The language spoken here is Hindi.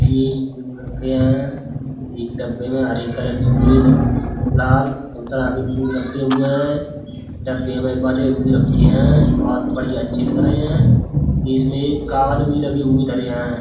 ये एक फूल रखे है एक डब्बे में हरे कलर सफेद लाल संतरा भी फूल रखे हुए है। डब्बे में बंधे हुए रखे है। बहुत बढियां अच्छे लग रहे हैं इसमे एक कावद भी लगे हुए धरे हैं।